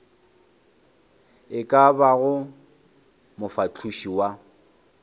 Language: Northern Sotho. e ka bago mofahloši wa